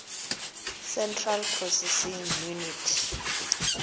central processing unit